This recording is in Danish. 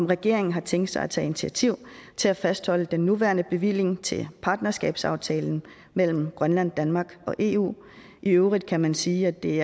regeringen har tænkt sig at tage initiativ til at fastholde den nuværende bevilling til partnerskabsaftalen mellem grønland danmark og eu i øvrigt kan man sige at det